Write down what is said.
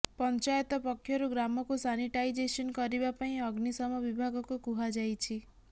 ପଞ୍ଚାୟତ ପକ୍ଷରୁ ଗ୍ରାମକୁ ସାନିଟାଇଜେସନ୍ କରିବା ପାଇଁ ଅଗ୍ନିଶମ ବିଭାଗକୁ କୁହାଯାଇଛି